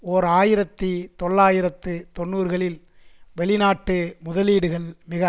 ஓர் ஆயிரத்தி தொள்ளாயிரத்து தொன்னூறுகளில் வெளிநாட்டு முதலீடுகள் மிக